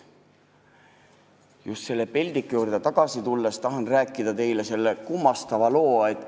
" Just selle peldiku juurde tagasi tulles tahan teile rääkida ühe kummastava loo.